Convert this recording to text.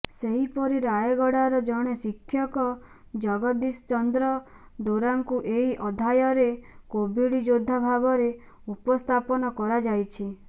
ସେହିପରି ରାୟଗଡ଼ାର ଜଣେ ଶିକ୍ଷକ ଜଗଦ୍ଦୀଶ ଚନ୍ଦ୍ର ଦୋରାଙ୍କୁ ଏହି ଅଧ୍ୟାୟରେ କୋଭିଡ୍ ଯୋଦ୍ଧା ଭାବରେ ଉପସ୍ଥାପନ କରାଯାଇଛି